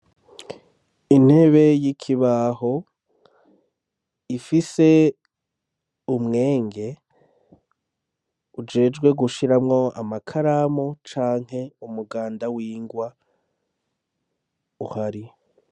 Intebe y'ikibaho, ifise umwenge ujejwe gushiramwo amakaramu canke umuganda w'ingwa uhari.